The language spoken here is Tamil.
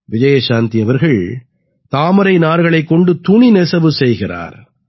விஜயசாந்தி அவர்கள் தாமரை நார்களைக் கொண்டு துணி நெசவு செய்கிறார்